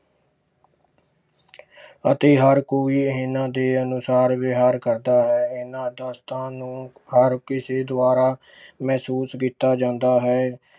ਅਤੇ ਹਰ ਕੋਈ ਇਹਨਾਂ ਦੇ ਅਨੁਸਾਰ ਵਿਹਾਰ ਕਰਦਾ ਹੈ ਇਹਨਾਂ ਨੂੰ ਹਰ ਕਿਸੇ ਦੁਆਰਾ ਮਹਿਸੂਸ ਕੀਤਾ ਜਾਂਦਾ ਹੈ।